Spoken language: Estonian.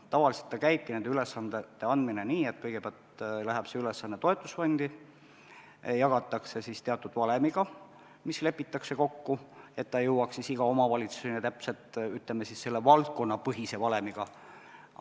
Tavaliselt käibki nende ülesannete andmine nii, et kõigepealt läheb ülesande rahastus toetusfondi, seda jagatakse teatud valemiga, mis lepitakse kokku, nii et ta jõuaks igasse omavalitsusesse täpselt selle valdkonnapõhise valemi põhjal.